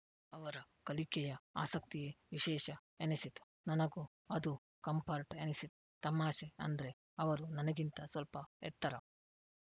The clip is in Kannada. ಅವರ ಕಲಿಕೆಯ ಆಸಕ್ತಿಯೇ ವಿಶೇಷ ಎನಿಸಿತು ನನಗೂ ಅದು ಕಂಪರ್ಟ್‌ ಎನಿಸಿತು ತಮಾಷೆ ಅಂದ್ರೆ ಅವರು ನನಗಿಂತ ಸ್ವಲ್ಪ ಎತ್ತರ